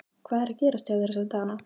Hvað er að gerast hjá þér þessa dagana?